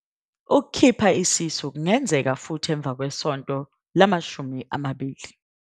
Ukukhipha isisu kungenzeka futhi emva kwesonto lama-20.